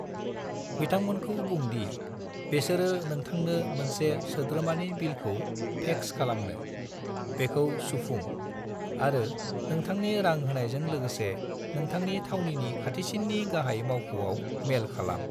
बिथांमोनखौ बुं दि बेसोरो नोंथांनो मोनसे सोद्रोमानि बिलाइखौ फैक्स खालामनो, बेखौ सुफुं, आरो नोंथांनि रां होनायजों लोगोसे नोथांनि थावनिनि खाथिसिननि गाहाय मावख'आव मेल खालाम।